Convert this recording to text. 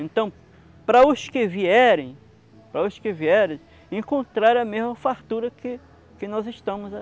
Então, para os que vierem, para os que vierem encontrarem a mesma fartura que que nós estamo